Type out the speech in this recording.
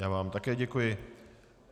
Já vám také děkuji.